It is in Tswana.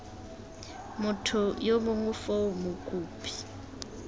motho yo mongwe foo mokopi